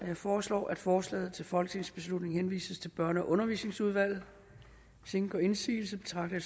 jeg foreslår at forslaget til folketingsbeslutning henvises til børne og undervisningsudvalget hvis ingen gør indsigelse betragter